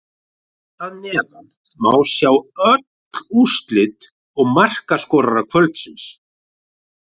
Hér að neðan má sjá öll úrslit og markaskorara kvöldsins: